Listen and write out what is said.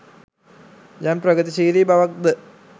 යම් ප්‍රගතිශීලි බවක් ද